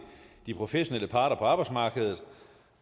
de professionelle parter på arbejdsmarkedet